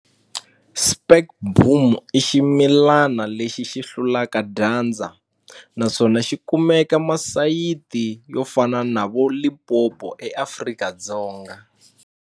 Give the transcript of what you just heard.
Spekboom i ximilana lexi xi hlulaka dyandza naswona xi kumeka masayiti yo fana na vo Limpopo eAfrika-Dzonga.